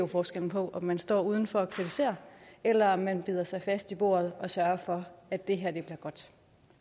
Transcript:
forskellen på om man står udenfor og kritiserer eller om man bider sig fast i bordet og sørger for at det her bliver godt